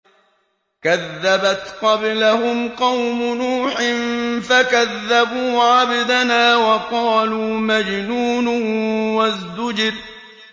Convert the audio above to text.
۞ كَذَّبَتْ قَبْلَهُمْ قَوْمُ نُوحٍ فَكَذَّبُوا عَبْدَنَا وَقَالُوا مَجْنُونٌ وَازْدُجِرَ